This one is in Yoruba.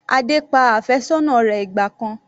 Adé pa àfẹ́sọ́nà rẹ̀ ìgbà kan.